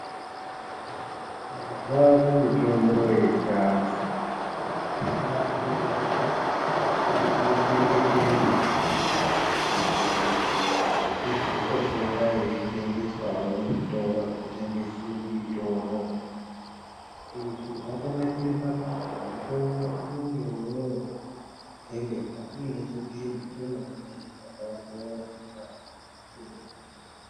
Mazuwa ano mutombo yechiantu yakutogadzirwa yeikone kutochengetedzwa kuitire kuti izotopota yeitengeswawo muzvitoro zvinotengese mitombo izvi zvakanakire pakutimutombo unenge woo tengeswa uine chipimo chemene mene chakaonhororwa ndiana chiremba.